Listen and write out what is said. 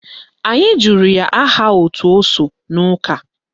Anyị jụrụ ya aha òtù o so n'ụka